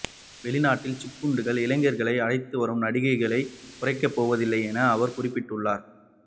வெளிநாட்டில் சிக்குண்டுள்ள இலங்கையர்களை அழைத்துவரும் நடவடிக்கைகளை குறைக்கப்போவதில்லை என அவர் குறிப்பிட்டுள்ளார்